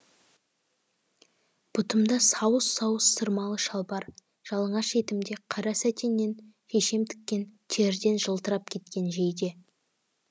бұтымда сауыс сауыс сырмалы шалбар жалаңаш етімде қара сәтеннен шешем тіккен терден жылтырап кеткен жейде